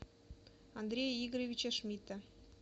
андрея игоревича шмидта